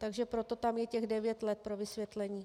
Takže proto tam je těch devět let pro vysvětlení.